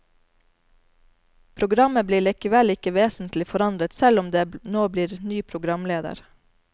Programmet blir likevel ikke vesentlig forandret, selv om det nå blir ny programleder.